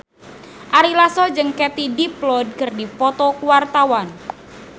Ari Lasso jeung Katie Dippold keur dipoto ku wartawan